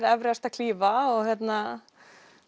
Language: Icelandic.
Everest að klífa